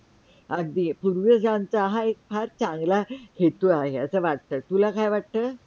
अगदी पूर्वजांचा हा एक फार चांगला हेतु आहे असा वाटतं, तुला काय वाटतं?